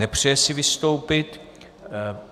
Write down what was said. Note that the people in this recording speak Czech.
Nepřeje si vystoupit.